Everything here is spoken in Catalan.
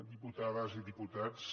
diputades i diputats